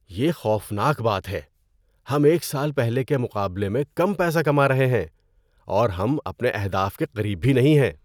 یہ خوفناک بات ہے! ہم ایک سال پہلے کے مقابلے میں کم پیسہ کما رہے ہیں، اور ہم اپنے اہداف کے قریب بھی نہیں ہیں۔